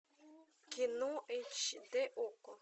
кино эйч дэ окко